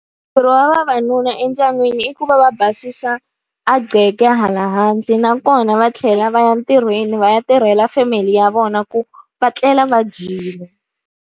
ya vavanuna endyangwini i ku va va basisa a hala handle, nakona va tlhela va ya ntirhweni va ya tirhela family ya vona ku va tlela va dyile.